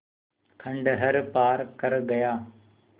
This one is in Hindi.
खंडहर पार कर गया